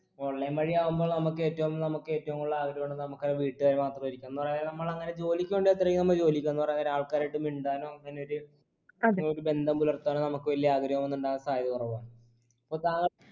online വഴിയാവുമ്പോൾ നമുക്കേറ്റവും നമുക്കേറ്റവും കൂടുതൽ നമുക്കാ വീട്ടുകാര് മാത്രമായിരിക്കും എന്നാലോ നമ്മളങ്ങന ജോലിക്ക് വേണ്ടി അത്രയും നമ്മ ജോലിക്കാ പറയാൻ നേരം ആൾകാരു ആയിട്ട് മിണ്ടാനു അങ്ങനൊരു ഒരു ബന്ധം പുലര്‍ത്താനൊക്കെ നമ്മക്ക് വെല്ല ആഗ്രഹോന്നുണ്ടാവാൻ സാധ്യത കുറവാന്ന്